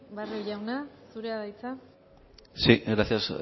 barrio jauna zurea da hitza sí gracias